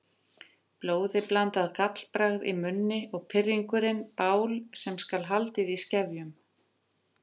Blóðiblandið gallbragð í munni og pirringurinn bál sem skal haldið í skefjum.